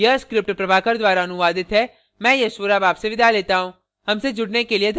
यह स्क्रिप्ट प्रभाकर द्वारा अनुवादित है मैं यश वोरा अब आपसे विदा लेता हूँ